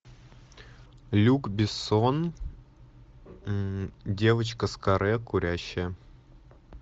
люк бессон девочка с каре курящая